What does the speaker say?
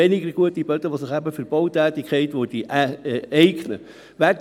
Dieses Instrument muss uns künftig bei der Bautätigkeit und bei der Planung weiterbringen.